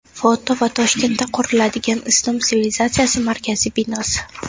Foto va Toshkentda quriladigan Islom sivilizatsiyasi markazi binosi.